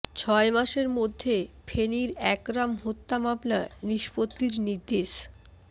ছয় মাসের মধ্যে ফেনীর একরাম হত্যা মামলা নিষ্পত্তির নির্দেশ